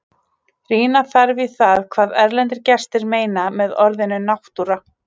Rýna þarf í það hvað erlendir gestir meina með orðinu náttúra.